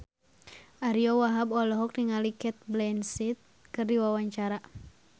Ariyo Wahab olohok ningali Cate Blanchett keur diwawancara